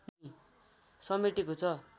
समेटेको छ